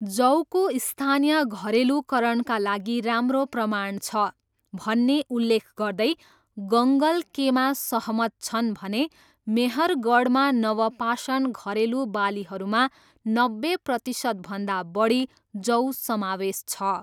"जौको स्थानीय घरेलुकरणका लागि राम्रो प्रमाण छ,'' भन्ने उल्लेख गर्दै गङ्गल केमा सहमत छन् भने ''मेहरगढमा नवपाषाण घरेलु बालीहरूमा नब्बे प्रतिसतभन्दा बढी जौ समावेश छ।''